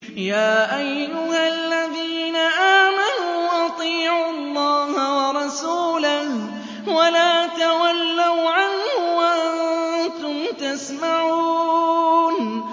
يَا أَيُّهَا الَّذِينَ آمَنُوا أَطِيعُوا اللَّهَ وَرَسُولَهُ وَلَا تَوَلَّوْا عَنْهُ وَأَنتُمْ تَسْمَعُونَ